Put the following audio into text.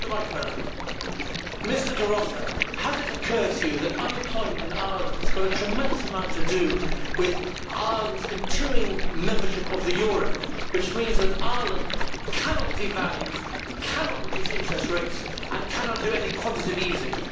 Mr De Rossa, has it occurred to you that unemployment in Ireland has a tremendous amount to do with Ireland's continuing membership of the euro, which means that Ireland cannot devalue, cannot reduce interest rates and cannot do any quantitative easing?